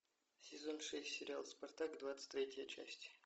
сезон шесть сериал спартак двадцать третья часть